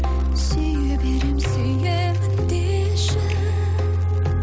сүйе беремін сүйемін деші